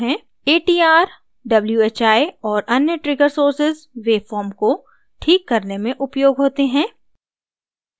atr whi और अन्य trigger sources waveform को ठीक करने में उपयोग होते हैं